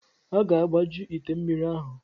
A ga-agbaju ite mmiri ahụ.